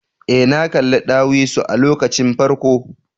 Ee, na kalli ɗawisu a lokacin farko.